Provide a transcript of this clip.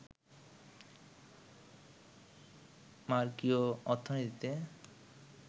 মার্ক্সীয় অর্থনীতিতে